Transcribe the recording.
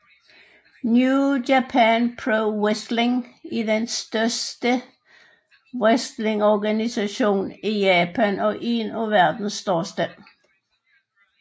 New Japan Pro Wrestling er den største wrestlingorganisation i Japan og én af verdens største